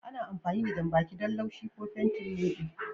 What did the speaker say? Ana amfani da janɓaki don laushi ko fenti leɓe.